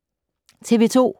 TV 2